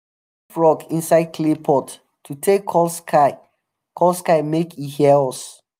frog inside clay pot to take call sky call sky make e hear us.